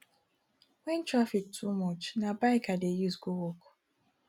wen traffic too much na bike i dey use go work